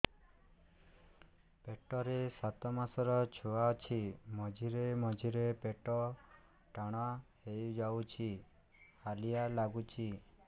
ପେଟ ରେ ସାତମାସର ଛୁଆ ଅଛି ମଝିରେ ମଝିରେ ପେଟ ଟାଣ ହେଇଯାଉଚି ହାଲିଆ ଲାଗୁଚି